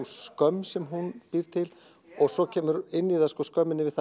skömm sem hún býr til og svo kemur inn í það skömmin yfir